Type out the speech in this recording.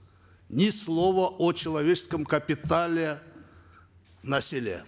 ни слова о человеческом капитале на селе